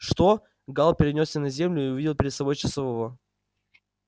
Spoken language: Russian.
что гаал перенёсся на землю и увидел перед собой часового